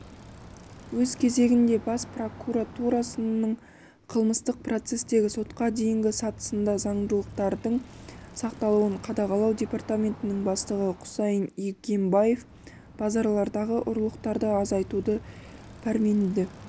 өз кезегінде бас прокуратурасының қылмыстық процестегі сотқа дейінгі сатысында заңдылықтардың сақталуын қадағалау департаментінің бастығы құсайын игембаев базарлардағы ұрлықтарды азайтуда пәрменді